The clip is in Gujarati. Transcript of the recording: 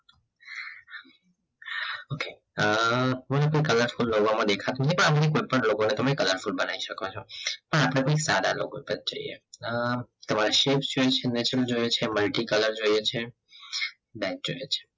અ કોઈ ને કોઈ color કોઈ logo માં દેખાતો નથી પણ અપડે કોઈ પણ logo ને colorfull બનાઈ સકો છો પણ અપડે કોઈ સદા logo પર જઇયે તમારે shape જોઇયે છે multicolor જોઇયે છે light જોઇયે છે